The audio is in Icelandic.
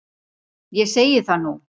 Ég segi það nú!